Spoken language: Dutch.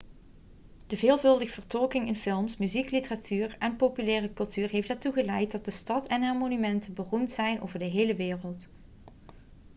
de veelvuldige vertolking in films muziek literatuur en populaire cultuur heeft ertoe geleid dat de stad en haar monumenten beroemd zijn over de hele wereld